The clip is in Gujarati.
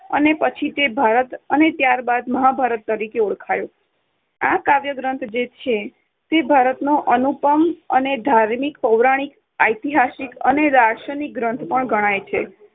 અને પછી તે 'ભારત' અને ત્યાર બાદ 'મહાભારત' તરીકે ઓળખાયો. આ કાવ્યગ્રંથ જે છે તે ભારતનો અનુપમ અને ધાર્મિક, પૌરાણિક, ઐતિહાસિક અને દાર્શનિક ગ્રંથ પણ ગણાય છે.